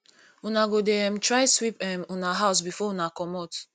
una go dey um try sweep um una house before una comot